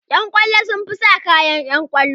Ƴan kwallo sun fi sa kayan ƴan kwallo